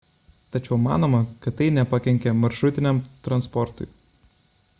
tačiau manoma kad tai nepakenkė maršrutiniam transportui